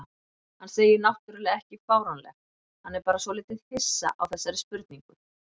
Hann segir náttúrlega ekki fáránlegt, hann er bara svolítið hissa á þessari spurningu.